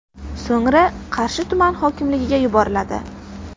So‘ngra Qarshi tuman hokimligiga yuboriladi.